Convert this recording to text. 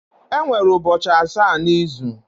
Enwere ubochi asa na izu